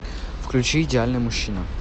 включи идеальный мужчина